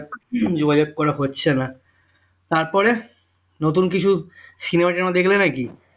যোগাযোগ করা হচ্ছে না তারপরে নতুন কিছু cinema টিনেমা দেখলে নাকি